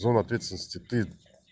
зона ответственности ты